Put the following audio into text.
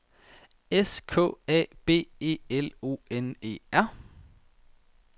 S K A B E L O N E R